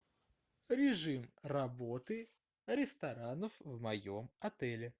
режим работы ресторанов в моем отеле